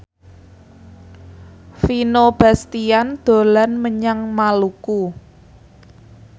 Vino Bastian dolan menyang Maluku